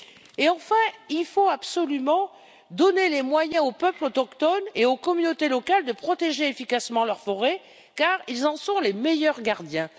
Et enfin, il faut absolument donner les moyens aux peuples autochtones et aux communautés locales de protéger efficacement leurs forêts, car ils en sont les meilleurs gardiens.